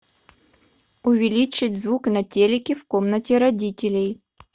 увеличить звук на телике в комнате родителей